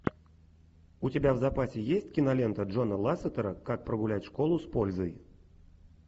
у тебя в запасе есть кинолента джона лассетера как прогулять школу с пользой